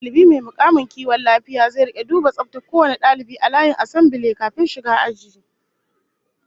Dalibi mai mukamin kiwon lafiya zai rika duba tsaftar kowane dalibi a layin asambile kafin shiga aji